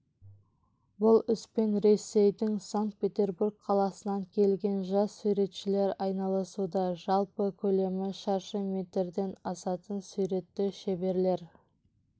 бұл іспен ресейдің санкт-петербург қаласынан келген жас суретшілер айналысуда жалпы көлемі шаршы метрден асатын суретті шеберлер